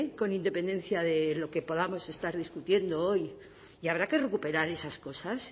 con independencia de lo que podamos estar discutiendo hoy y habrá que recuperar esas cosas